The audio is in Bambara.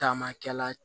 Taama kɛla